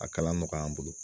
A kalan mɔgɔy'an bolo